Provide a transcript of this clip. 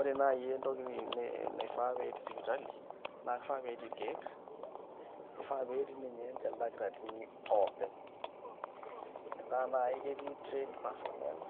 Ore naai entoki naifaa pee etii sipitali naa kifaa pee etii irkeek nifaa pee etii ninche ildakitarini oopeny metaa naai ketii trained personnel